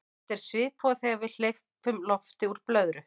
þetta er svipað og þegar við hleypum lofti úr blöðru